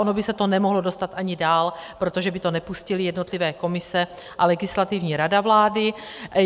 Ono by se to nemohlo dostat ani dál, protože by to nepustily jednotlivé komise a Legislativní rada vlády.